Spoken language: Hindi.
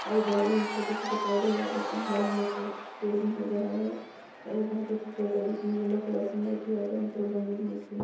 और इधर भी छोटे-छोटे पौधे और बड़े-बड़े पेड़ पेड़ भी नजर आ रहे हैं और ये बहुत ही खूबसूरत है बीच में येलो कलर की मूर्ति और दोनों तरफ रंगीन मूर्ति --